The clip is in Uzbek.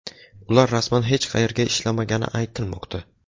Ular rasman hech qayerda ishlamagani aytilmoqda.